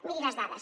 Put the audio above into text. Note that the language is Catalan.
miri les dades